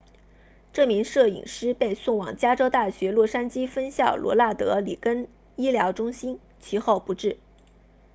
这名摄影师被送往加州大学洛杉矶分校罗纳德里根医疗中心其后不治